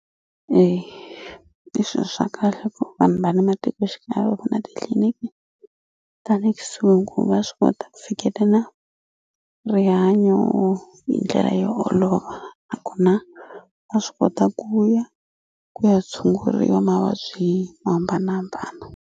i swilo swa kahle ku vanhu va le matikoxikaya va va na titliliniki ta le kusuhi ku va swi kota ku fikelela rihanyo hi ndlela yo olova nakona va swi kota ku ya ku ya tshunguriwa mavabyi mo hambanahambana.